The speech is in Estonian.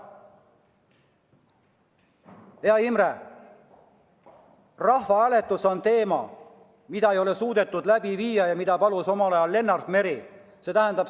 Hea Imre, rahvahääletus on asi, mida ei ole suudetud läbi viia ja mida palus omal ajal Lennart Meri.